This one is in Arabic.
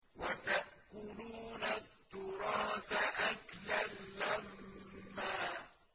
وَتَأْكُلُونَ التُّرَاثَ أَكْلًا لَّمًّا